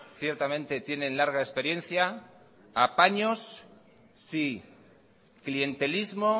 ciertamente tienen larga experiencia apaños sí clientelismo